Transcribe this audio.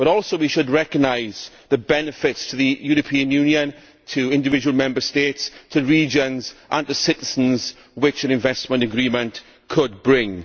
But we should also recognise the benefits to the European Union, to individual Member States, to regions and to citizens which an investment agreement could bring.